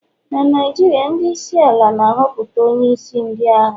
na Naijiria, ndị isi ala na-ahọpụta onye isi ndị agha